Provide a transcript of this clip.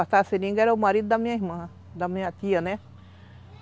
Cortar seringa era o marido da minha irmã, da minha tia, né?